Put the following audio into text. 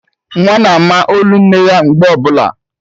Nwa na-ama olu nne ya mgbe ọbụla